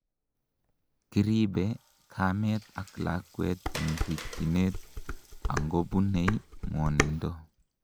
kiribe kamet ak lakwet en rikyinet angobunei ngwonindo